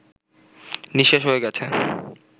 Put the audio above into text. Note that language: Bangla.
নিঃশেষ হয়ে গেছে